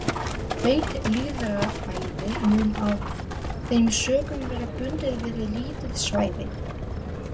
Beint lýðræði mun af þeim sökum vera bundið við lítið svæði.